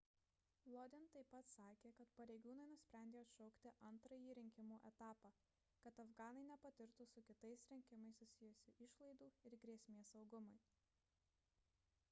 lodin taip pat sakė kad pareigūnai nusprendė atšaukti antrąjį rinkimų etapą kad afganai nepatirtų su kitais rinkimais susijusių išlaidų ir grėsmės saugumui